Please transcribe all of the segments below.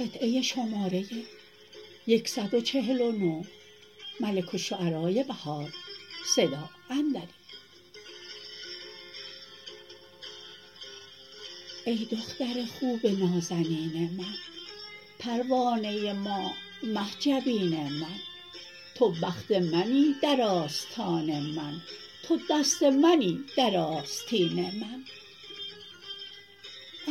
ای دختر خوب نازنین من پروانه ماه مه جبین من تو بخت منی در آستان من تو دست منی در آستین من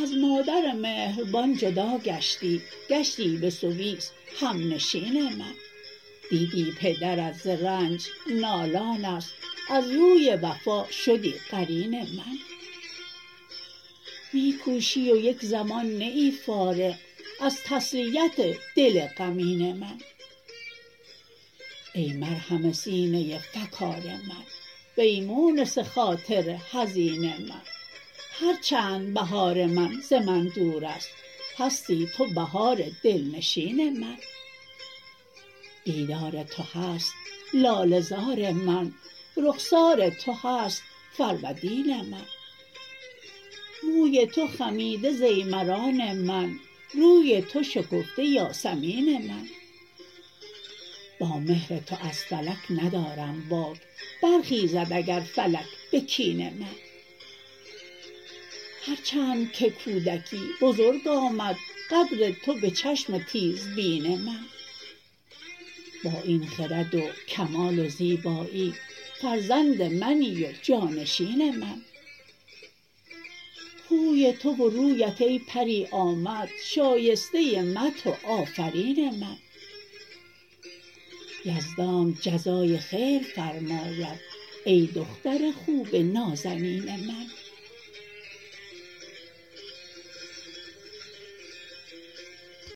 از مادر مهربان جدا گشتی گشتی به سویس همنشین من دیدی پدرت ز رنج نالانست از روی وفا شدی قرین من می کوشی و یک زمان نه ای فارغ از تسلیت دل غمین من ای مرهم سینه فکار من و ای مونس خاطر حزین من هرچند بهار من ز من دور است هستی تو بهار دلنشین من دیدار تو هست لاله زار من رخسار تو هست فرودین من موی تو خمیده ضیمران من روی تو شکفته یاسمین من با مهر تو از فلک ندارم باک برخیزد اگر فلک به کین من هرچندکه کودکی بزرگ آمد قدر تو به چشم تیزبین من با این خرد وکمال و زیبایی فرزند منی و جانشین من خوی تو و روبت ای پری آمد شایسته مدح و آفرین من یزدانت جزای خیر فرماید ای دختر خوب نازنین من